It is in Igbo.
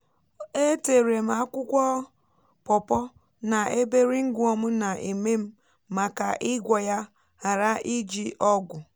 e térè m akwụkwọ pọpọ́ na ebe ringwom na èmé m màká igwoọ ya ghara ịjì ọgwụ